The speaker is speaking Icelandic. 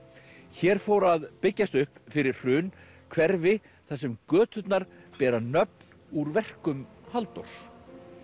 hér fór að byggjast upp fyrir hrun hverfi þar sem göturnar bera nöfn úr verkum Halldórs